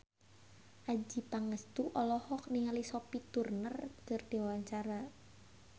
Adjie Pangestu olohok ningali Sophie Turner keur diwawancara